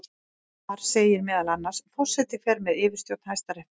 Þar segir meðal annars: Forseti fer með yfirstjórn Hæstaréttar.